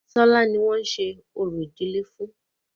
Tọ́lá ni wọ́n ń ṣe orò ìdílé fún.